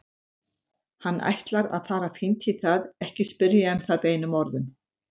Hann ætlar að fara fínt í það, ekki spyrja um það beinum orðum.